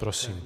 Prosím.